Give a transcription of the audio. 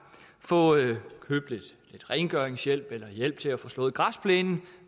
få købt lidt rengøringshjælp eller hjælp til at få slået græsplænen